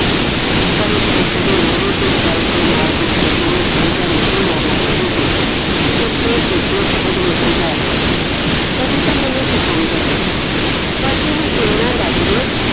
ਪਰ ਉਹ ਪੁੱਤ ਦੇ ਮੂੰਹ ਤੇ ਡਲ੍ਹਕਾਂ ਮਾਰਦੀ ਖੁਸ਼ੀ ਨੂੰ ਪੂੰਜਾ ਨਹੀਂ ਮਾਰਨਾ ਚਾਹੁੰਦੀ ਸੀ ਇਸ ਲਈ ਉਸ ਨੇ ਖੁਦ ਨੂੰ ਸਮਝਾਇਆ ਕੁੜੀ ਤਾਂ ਮੈਨੂੰ ਪਸੰਦ ਹੈ ਪੁੱਤ ਬਸ ਇਹਨੂੰ ਇਹਨਾਂ ਦਸ ਦੇ